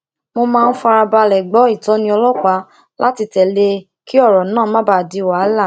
mo máa ń farabalè gbó ìtóni ọlópàá lati tele e kí òrò má bàa di wàhálà